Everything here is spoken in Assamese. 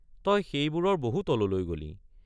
তই সেইবোৰৰ বহু তললৈ গলি।